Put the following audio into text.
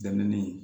Dɛmɛni